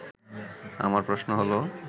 আমার প্রশ্ন হলো